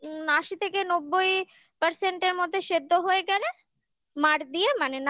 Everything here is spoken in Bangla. উম আশি থেকে নব্বই percent মধ্যে সেদ্ধ হয়ে গেলে মার দিয়ে মানে